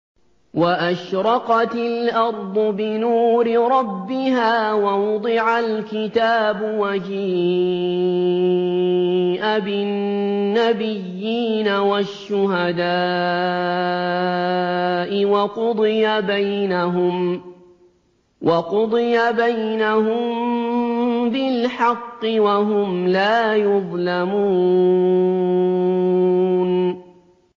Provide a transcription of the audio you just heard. وَأَشْرَقَتِ الْأَرْضُ بِنُورِ رَبِّهَا وَوُضِعَ الْكِتَابُ وَجِيءَ بِالنَّبِيِّينَ وَالشُّهَدَاءِ وَقُضِيَ بَيْنَهُم بِالْحَقِّ وَهُمْ لَا يُظْلَمُونَ